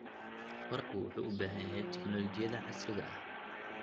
Waraabku wuxuu u baahan yahay tignoolajiyada casriga ah.